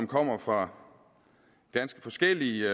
kommer fra ganske forskellige